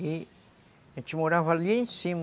E a gente morava ali em cima.